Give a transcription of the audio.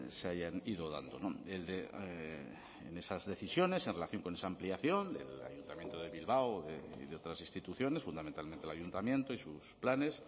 se hayan ido dando en esas decisiones en relación con esa ampliación el ayuntamiento de bilbao y de otras instituciones fundamentalmente el ayuntamiento y sus planes